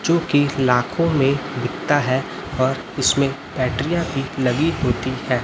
जो की लाखों में बिकता हैं और इसमें बैटरीयां भी लगी होती हैं।